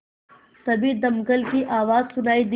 तभी दमकल की आवाज़ सुनाई दी